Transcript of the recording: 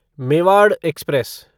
Mewar express